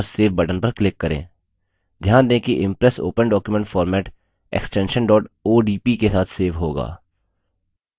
ध्यान दें कि impress open document format extension odp के साथ सेव होगा